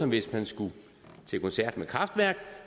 hvis man skal til koncert med kraftwerk